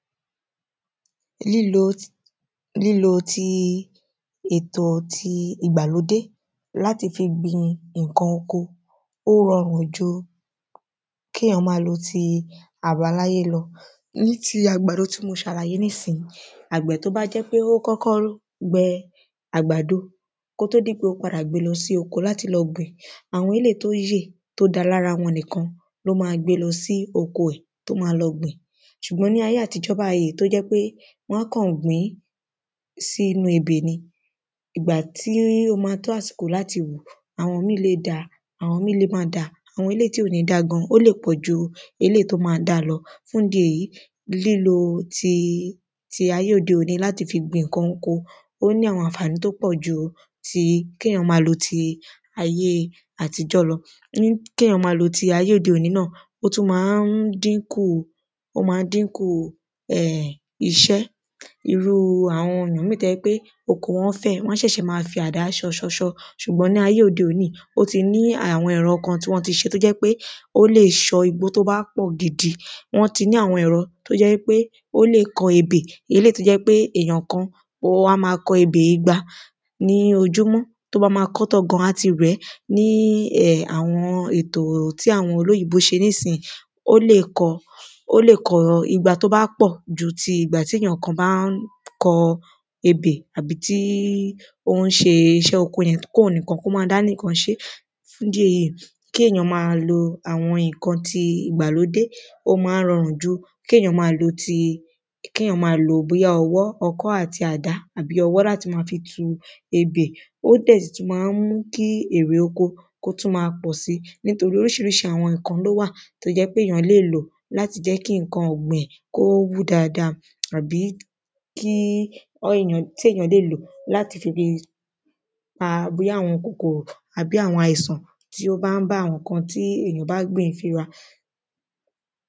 Lílo ti èto ìgbàlódé láti fi gbin ǹkan oko, ó rọrùn ju, kí èyán ma lo ti àbáláyé lọ. Ní ti àgbàdo tí mo ṣàlàyé ní sìn yí, àgbẹ̀ tó bá jẹ́ pé, ó kọ́kọ́ gbe àgbàdo, kó tó di pé ó padà gbe lọ sí oko láti lọ gbìn, àwọn eléyìí tí ó yè, tó da lára wọn nìkan, ló ma gbe lọ sí oko ẹ̀, tó ma lọ gbìn, ṣùgbọ́n ní ayé àtijó báyìí, tó jẹ́ pé, wọ́n á kàn gbǐn sínu ebè ni, ìgbà tí ó ma tó àsìkò láti wù, àwọn míì lè da, àwọn míì lè má da, àwọn eléyìí tí ò ní da gan, ó lè pọ̀jù eléyìí tó ma da lọ, fún ìdí èyí, lílo ti ayé òde òni láti fi gbin ǹkan oko, ó ní àwọn ànfàní tí ó pọ̀ ju ti, kí èyán ma lo ti ayé àtijọ́ lọ, kí èyán ma lo ti ayé òde òni náà, ó tún ma ń dínkù iṣẹ́, um, ó ma ń dínkù iṣẹ́, irúu àwọn èyàn míì tó jẹ́ pé oko wọ́n fẹ̀, wọ́n ṣẹ̀ sẹ̀ ma fi àdá ṣọ ṣọ ṣọ, ṣùgbọ́n ní ayé òde òni yí, ó ti ní àwọn ẹ̀rọ kan tí wọ́n ti ṣe tó jẹ́ pé, ó lè ṣọ́ igbó tó bá pọ̀ gidi, wọ́n ti ní àwọn ẹ̀rọ, tó jẹ́ wípé ó lè kọ ebè, eléyìí tó jẹ́ pé èyàn kan, ó ma kọ ebè igba ní ojúmọ́, tí ó bá ma kọ ọ́ tán gan, á ti rẹ̀ẹ́, ní um àwọn ètò tí àwọn olóyìnbó se ní sìn yí, ó lè kọ igba tó bá pọ̀ ju ìgbà tí èyàn kan bá ń kọ ebè, àbí tí ó ń ṣe iṣẹ́ oko yẹn, kí òun nìkan kó ma dá nìkan ṣe é, fún ìdí èyí, kí èyán ma lo àwọn ǹkan ìgbàlódé, ó ma ń rọrùn ju kí èyán ma lo ti, ki èyán ma lo bí ọwọ́, ọkọ́ àti àdá, àbí ọwọ̀ láti ma fi tu ebè Ó dẹ̀ tún ma ń mú kí ère òkọ̀, kó tún ma pọ̀si, nítorí orísirísi àwọn ǹkan ló wà tó jẹ́ pé èyán lè lò, láti jẹ́ kí ǹkan ọ̀gbìn, kó wú dada, àbí tí èyàn lè lò láti fi pa bóyá àwọn kòkòrò, àbí àwọn àìsàn, tí ó ba ń bá àwọn ǹkan tí èyàn bá gbìn finra